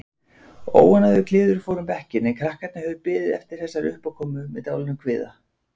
Óánægjukliður fór um bekkinn en krakkarnir höfðu beðið eftir þessari uppákomu með dálitlum kvíða.